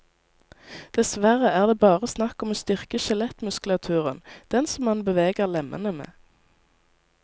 Dessverre er det bare snakk om å styrke skjelettmuskulaturen, den som man beveger lemmene med.